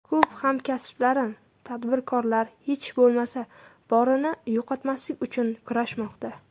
Ko‘p hamkasblarim tadbirkorlar hech bo‘lmasa, borini yo‘qotmaslik uchun kurashmoqda.